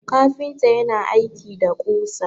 kafinta yana aiki da kusa